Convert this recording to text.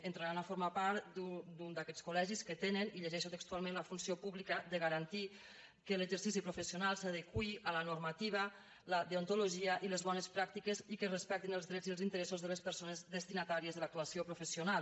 entraran a formar part d’un d’aquests col·legis que tenen i ho llegeixo textualment la funció pública de garantir que l’exercici professional s’adeqüi a la normativa la deontologia i les bones pràctiques i que es respectin els drets i els interessos de les persones destinatàries de l’actuació professional